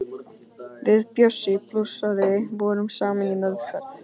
Við Bjössi blúsari vorum saman í meðferð.